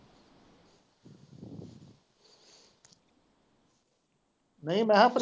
ਨਹੀਂ ਮੈਂ ਹਾਂ ਉੱਪਰ।